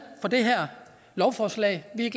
for det her lovforslag vi